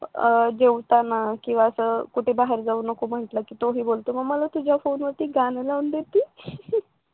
जेवताना किंवा कुठे असं बाहेर जाऊ नको म्हटलं की पोरी बोलतोय मग मला तुझ्या फोनवरती गाणे लावून देशील